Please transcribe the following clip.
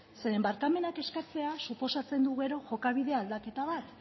zeren barkamenak eskatzea suposatzen du gero jokabide aldaketa bat